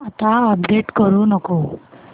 आता अपडेट करू नको